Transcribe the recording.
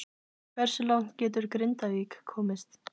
Hversu langt getur Grindavík komist?